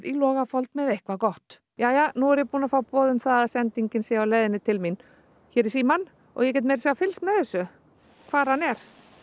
Logafold með eitthvað gott jæja nú er ég búin að fá boð um það að sendingin sé á leiðinni til mín hér í símann og ég get meira að segja fylgst með þessu hvar hann er